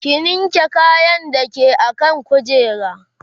ki linke kayan da ke akan kujera